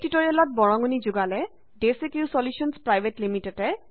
এই টিউটৰিয়েলত বৰঙনি যোগালে ডেচিক্ৰিউ চলিউশ্যনছ পিভিটি